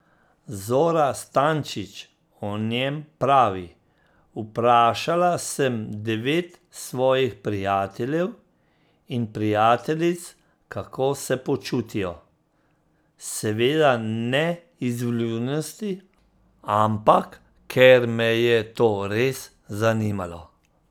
Zora Stančič o njem pravi: 'Vprašala sem devet svojih prijateljev in prijateljic kako se počutijo, seveda ne iz vljudnosti, ampak ker me je to res zanimalo.